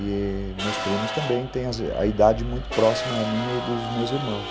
E meus primos também têm a a idade muito próxima a minha e dos meus irmãos.